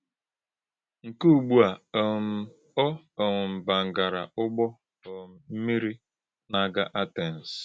Nkè̄ ùgbú̄ à, um ọ um bàngàrà̄ Ụ̀gbọ̄ um m̀mí̄rì nà - àgà̄ Àtèns.